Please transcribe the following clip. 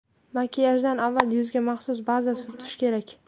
Makiyajdan avval yuzga maxsus baza surtish kerak.